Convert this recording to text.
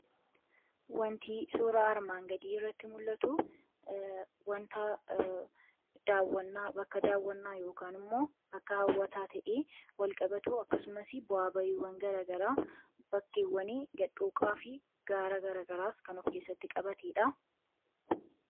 Wantii suura armaan gadii irratti mul'atu wanta bakka daawwannaa yookiin immoo bakka hawwataa ta'een walqabatu akkasumas bu'aa ba'iiwwan garagaraa, bakkeewwan gadhooqaa fi gaara garagaraas kan of keessatti qabateedha.